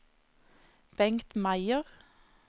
Bengt Meyer